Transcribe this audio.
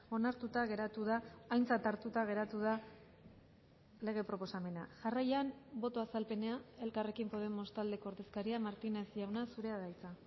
onartuta geratu da aintzat hartuta geratu da lege proposamena jarraian boto azalpena elkarrekin podemos taldeko ordezkaria martínez jauna zurea da hitza